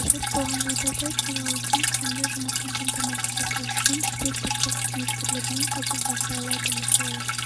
қажет болған жағдайда филиалдың тиімді жұмысын қамтамасыз ету үшін жедел түрде қызметкерлермен хабарласа алады мысалы